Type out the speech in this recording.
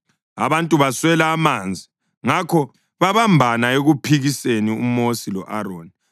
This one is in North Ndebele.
Abantu baswela amanzi, ngakho babambana ekuphikiseni uMosi lo-Aroni.